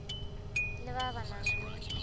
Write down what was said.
le ba ba nang le